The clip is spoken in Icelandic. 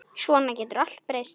Svona getur allt breyst.